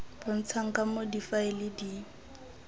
bontshang ka moo difaele di